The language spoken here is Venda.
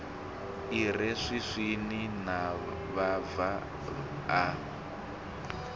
i re swiswini mavhava a